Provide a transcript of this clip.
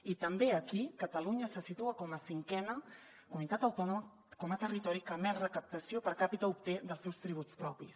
i també aquí catalunya se situa com a cinquena comunitat autònoma com a territori que més recaptació per capita obté dels seus tributs propis